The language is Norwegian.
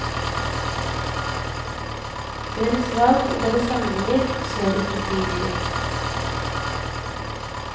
Deres valg og deres handlinger skjer ikke frivillig.